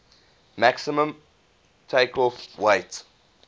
maximum takeoff weight